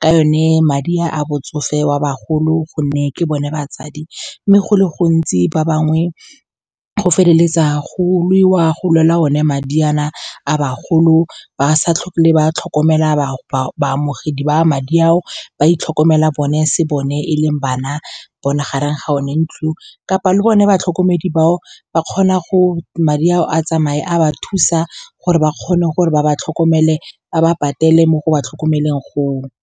ka yone. Madi a botsofe wa bagolo, gonne ke bone batsadi, mme go le gontsi ba bangwe go feleletsa go lwewa, go lwela o ne madi a na a bagolo, ba sa tlhole ba tlhokomela baamogedi ba madi ao, ba itlhokomela bone, se bone e leng bana bone gareng ga bone ntlong, kapa le bone batlhokomedi bao ba kgona madi ao a tsamaye a ba thusa gore ba kgone gore ba ba tlhokomele, ba ba patele mo go ba tlhokomeleng go o.